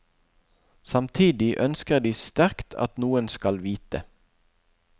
Samtidig ønsker de sterkt at noen skal vite.